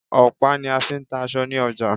Ọ̀pá ní a fí ń ta aṣọ ní ọjà.